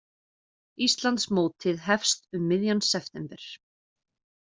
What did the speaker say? Íslandsmótið hefst um miðjan september